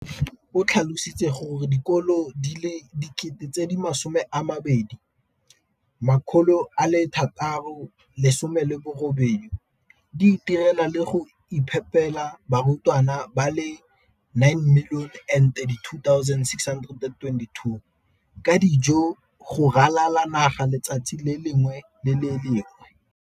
O tlhalositse gore dikolo di le 20 619 di itirela le go iphepela barutwana ba le 9 032 622 ka dijo go ralala naga letsatsi le lengwe le le lengwe.